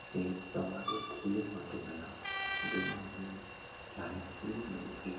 ત્યાં માટે ગયા જેમાં અમે giant wheel મળી હતી